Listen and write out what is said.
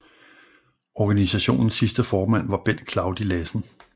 Organisationens sidste formand var Bent Claudi Lassen